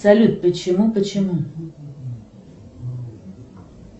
салют почему почему